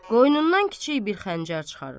Qoynundan kiçik bir xəncər çıxarır.